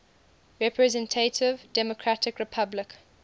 representative democratic republic